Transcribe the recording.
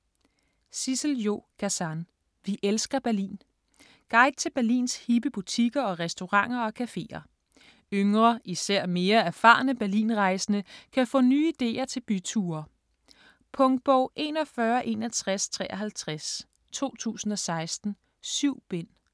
Gazan, Sissel-Jo: Vi elsker Berlin Guide til Berlins hippe butikker og restauranter og cafeer. Yngre, især mere erfarne Berlinrejsende kan få nye ideer til byture. Punktbog 416153 2016. 7 bind.